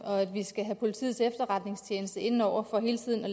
og vi skal have politiets efterretningstjeneste ind over for hele tiden at